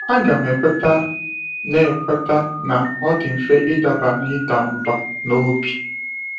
Aga m ekweta na ekweta na ọ dị mfe ịdaba n’ịda mbà n’obi.